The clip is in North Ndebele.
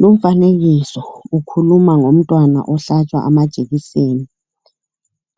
Lumfanekiso ukhuluma ngomntwana ohlatshwa ama jekiseni.